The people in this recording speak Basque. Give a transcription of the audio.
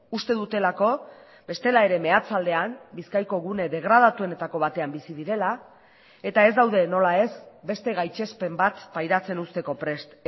uste dutelako bestela ere meatzaldean bizkaiko gune degradatuenetako batean bizi direla eta ez daude nola ez beste gaitzespen bat pairatzen uzteko prest